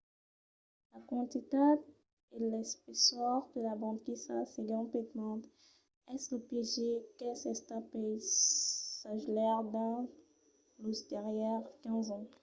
la quantitat e l'espessor de la banquisa segon pittman es lo piéger qu'es estat pels sagelaires dins los darrièrs 15 ans